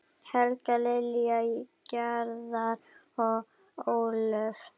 Helga, Lilja, Garðar og Ólöf.